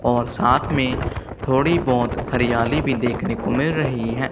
और साथ में थोड़ी बहोत हरियाली भी देखने को मिल रही है।